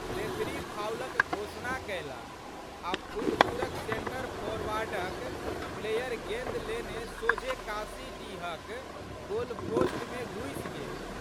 Referee फाउलक घोषणा कएलक। आ' फुलपुरक सेंटर फोरवार्डक प्लेयर गेंद लेने सोझे काशीडीहक गोलपोस्टमे घुसि गेल।